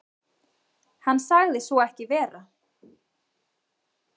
Hann sagði svo ekki vera.